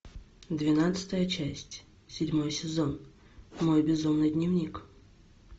двенадцатая часть седьмой сезон мой безумный дневник